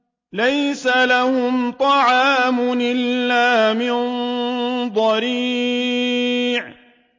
لَّيْسَ لَهُمْ طَعَامٌ إِلَّا مِن ضَرِيعٍ